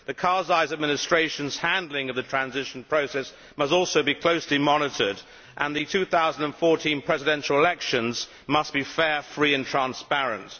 The Karzai administration's handling of the transition process must also be closely monitored and the 2014 presidential elections must be fair, free and transparent.